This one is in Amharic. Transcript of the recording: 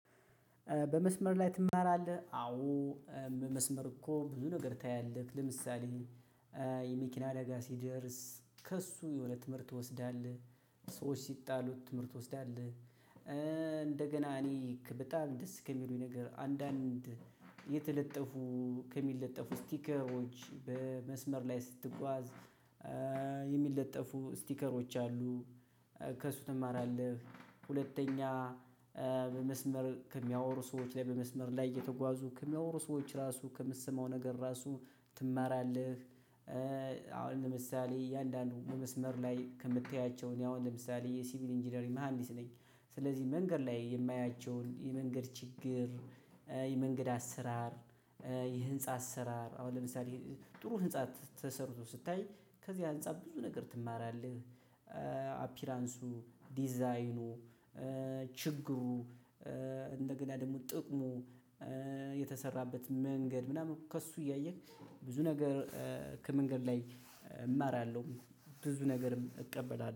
በመስመር ላይ ትማራለህ? አዎ፣ መስመር እኮ ብዙ ነገር ታያለህ ለምሳሌ የመኪና አደጋ ሲደርስ ከእሱ የሆነ ትምህርት ትወስዳለህ፣ ሰዎች ሲጣሉት ትምህርት ትወስዳለህ። እንደገና እኔ በጣም ደስ ከሚሉኝ ነገር አንዳንድ የተለጠፉ ከሚለጠፉ ስቲከሮች በመስመር ላይ ስትጓዝ የሚለጠፉ ስቲከሮች አሉ። ከሱ ትማራለህ፣ ሁለተኛ በመስመር ሚያወሩ ሰዎችን ላይ በመስመር ላይ እየተጓዙ ከሚያወሩ ሰዎች ራሱ ከምሰማው ነገር ራሱ ትማራለህ። አሁን ለምሳሌ እያንዳንዱ በመስመር ላይ ከምታያቸው እኔ አሁን ለምሳሌ የሲቪል ኢንጂነሪ መሃንዲስ ነኝ። ስለዚህ መንገድ ላይ የማያቸውን የመንገድ ችግር፣ የመንገድ አሰራር፣ የህንፃ አሰራር አሁን ለምሳሌ ጥሩ ህንፃ ተሰርቶ ስታይ ከዚህ ህንፃ ብዙ ነገር ትማራለህ። አፒራንሱ፣ ዲዛይኑ፣ ችግሩ እንደገና ደግሞ ጥቅሙ፣ የተሰራበት መንገድ ምናምን ከእሱ እያየህ ብዙ ነገር ከመንገድ ላይ እማራለሁ። ብዙ ነገርም እቀበላለሁ።